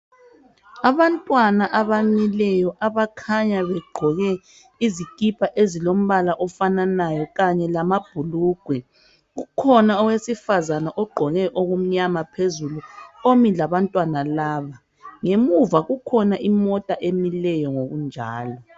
Abantwana abamileyo abakhanya begqoke izikipa ezilombala ofananayo kanye lamabhulugwe. Kukhona owesifazane omi labantwana laba. Ngemuva kukhona imota emileyo ngokunjalo.